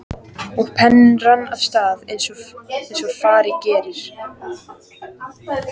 Og penninn rann af stað eins og fara gerir.